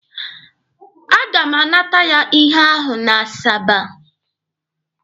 A ga m anata ya ihe ahụ n'Asaba.